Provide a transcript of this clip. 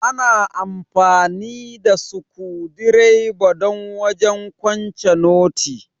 Ana amfani da sukudireba don wajen kwance noti.